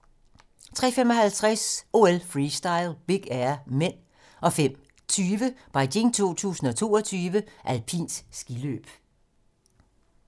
03:55: OL: Freestyle - Big Air (m) 05:20: Beijing 2022: Alpint skiløb